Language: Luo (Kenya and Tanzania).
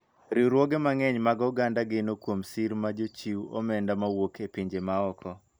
Riwruoge mang'eny mag oganda geno kuom sir mag jochiw omenda mawuok e pinje ma oko.